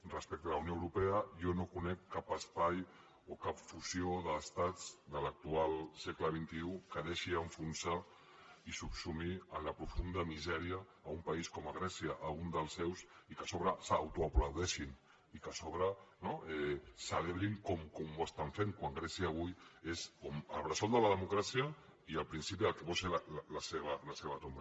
respecte a la unió europea jo no conec cap espai o cap fusió d’estats de l’actual segle xxi que deixi enfonsar i subsumir en la profunda misèria un país com grècia un dels seus i que a sobre s’autoaplaudeixi i que a sobre no ho celebrin com ho estan fent quan grècia avui és el bressol de la democràcia i el principi del que pot ser la seva tomba